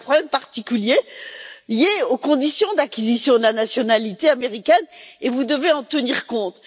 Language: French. Il existe un problème particulier lié aux conditions d'acquisition de la nationalité américaine, et vous devez en tenir compte.